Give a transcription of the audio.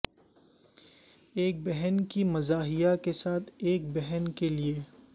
ایک بہن کی مزاحیہ کے ساتھ ایک بہن کے لئے